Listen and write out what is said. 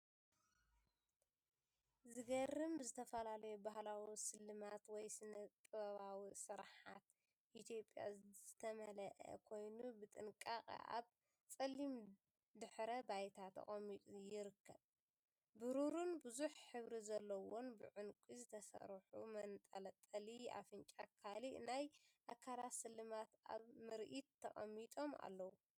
ዘገርም! ብዝተፈላለዩ ባህላዊ ስልማት ወይ ስነ-ጥበባዊ ስርሓት ኢትዮጵያ ዝተመልአ ኮይኑ፡ ብጥንቃቐ ኣብ ጸሊም ድሕረ ባይታ ተቐሚጡ ይርከብ። ብሩርን ብዙሕ ሕብሪ ዘለዎምን ብዕንቊ ዝተሰርሑ መንጠልጠሊ ኣፍንጫን ካልእ ናይ ኣካላት ስልማትን ኣብ ምርኢት ተቐሚጦም ኣለዉ።